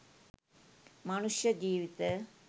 මනුෂ්‍ය ජීවිත